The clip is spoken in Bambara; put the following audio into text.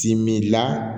Timila